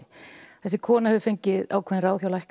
þessi kona hefur fengið ákveðin ráð hjá lækni